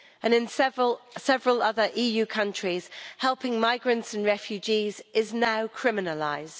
In several other EU countries, helping migrants and refugees is now criminalised.